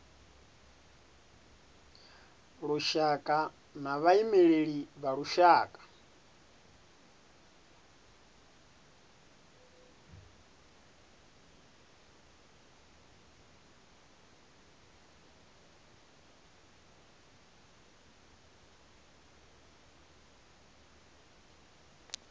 lushaka na vhaimeleli vha lushaka